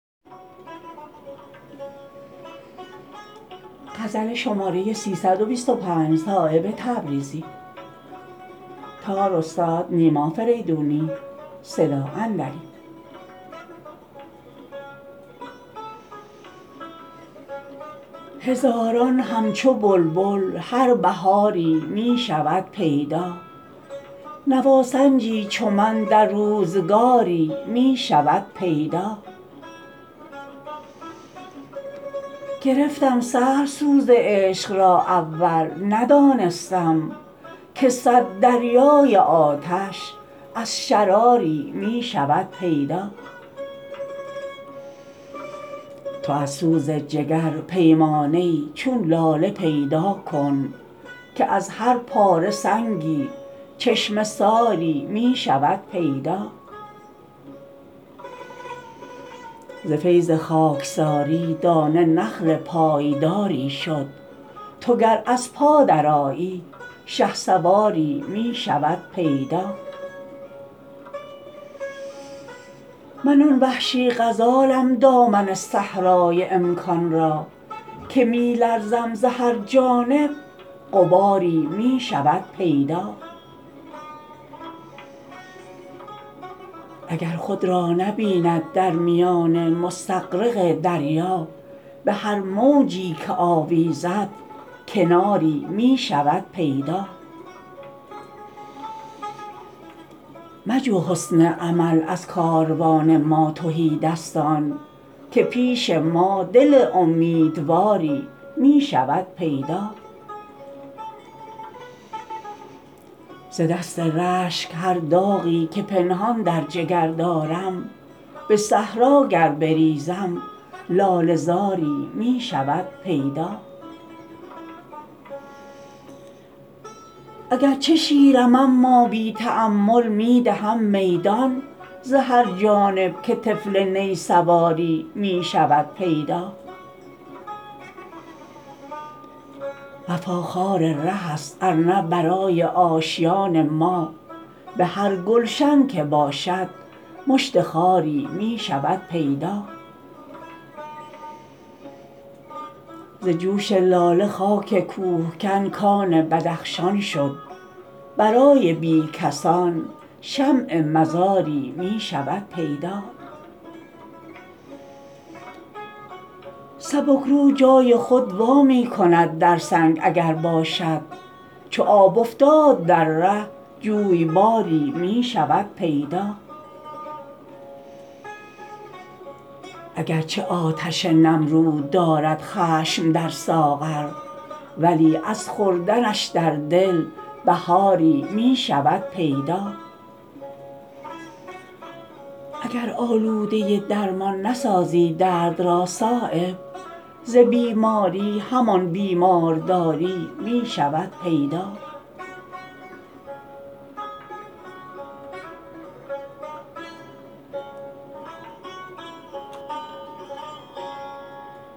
هزاران همچو بلبل هر بهاری می شود پیدا نواسنجی چو من در روزگاری می شود پیدا گرفتم سهل سوز عشق را اول ندانستم که صد دریای آتش از شراری می شود پیدا تو از سوز جگر پیمانه ای چون لاله پیدا کن که از هر پاره سنگی چشمه ساری می شود پیدا ز فیض خاکساری دانه نخل پایداری شد تو گر از پا درآیی شهسواری می شود پیدا من آن وحشی غزالم دامن صحرای امکان را که می لرزم ز هر جانب غباری می شود پیدا اگر خود را نبیند در میان مستغرق دریا به هر موجی که آویزد کناری می شود پیدا مجو حسن عمل از کاروان ما تهیدستان که پیش ما دل امیدواری می شود پیدا ز دست رشک هر داغی که پنهان در جگر دارم به صحرا گر بریزم لاله زاری می شود پیدا اگرچه شیرم اما بی تأمل می دهم میدان ز هر جانب که طفل نی سواری می شود پیدا وفا خار ره است ارنه برای آشیان ما به هر گلشن که باشد مشت خاری می شود پیدا ز جوش لاله خاک کوهکن کان بدخشان شد برای بی کسان شمع مزاری می شود پیدا سبک رو جای خود وا می کند در سنگ اگر باشد چو آب افتاد در ره جویباری می شود پیدا اگرچه آتش نمرود دارد خشم در ساغر ولی از خوردنش در دل بهاری می شود پیدا اگر آلوده درمان نسازی درد را صایب ز بیماری همان بیمارداری می شود پیدا